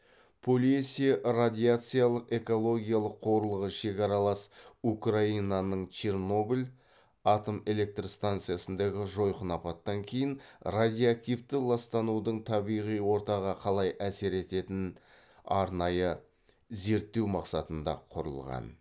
полесье радиациялық экологиялық қорығы шекаралас украинаның чернобыль атомэлектрстанциясындағы жойқын апаттан кейін радиоактивті ластанудың табиғи ортаға қалай әсер ететінін арнайы зерттеу мақсатында құрылған